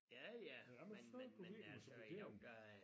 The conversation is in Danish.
Ja ja men men men altså jo der er